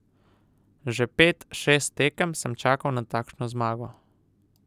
Že pet, šest tekem sem čakal na takšno zmago.